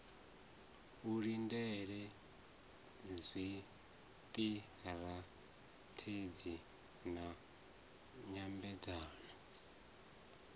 u lindela zwiṱirathedzhi na nyambedzano